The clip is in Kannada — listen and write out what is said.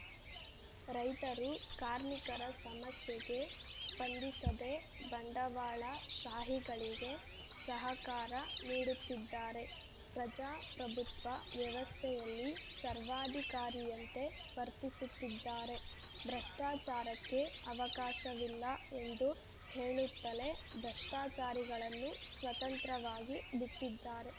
ರೈತರು ಕಾರ್ಮಿಕರ ಸಮಸ್ಯೆಗೆ ಸ್ಪಂದಿಸದೇ ಬಂಡವಾಳ ಶಾಹಿಗಳಿಗೆ ಸಹಕಾರ ನೀಡುತ್ತಿದ್ದಾರೆ ಪ್ರಜಾ ಪ್ರಭುತ್ವ ವ್ಯವಸ್ಥೆಯಲ್ಲಿ ಸರ್ವಾಧಿಕಾರಿಯಂತೆ ವರ್ತಿಸುತ್ತಿದ್ದಾರೆ ಭ್ರಷ್ಟಾಚಾರಕ್ಕೆ ಅವಕಾಶವಿಲ್ಲ ಎಂದು ಹೇಳುತ್ತಲೇ ಭ್ರಷ್ಟಾಚಾರಿಗಳನ್ನು ಸ್ವತಂತ್ರವಾಗಿ ಬಿಟ್ಟಿದ್ದಾರೆ